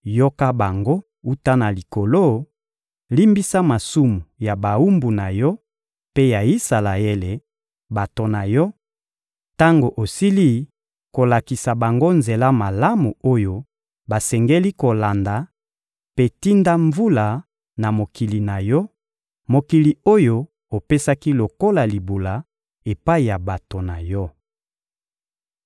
yoka bango wuta na Likolo, limbisa masumu ya bawumbu na Yo mpe ya Isalaele, bato na Yo, —tango osili kolakisa bango nzela malamu oyo basengeli kolanda— mpe tinda mvula na mokili na Yo, mokili oyo opesaki lokola libula epai ya bato na Yo.